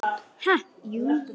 Ha, jú.